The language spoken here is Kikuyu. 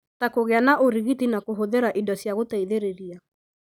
ta kũgĩa na ũrigiti na kũhũthĩra indo cia gũteithĩrĩria.